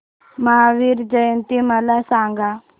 महावीर जयंती मला सांगा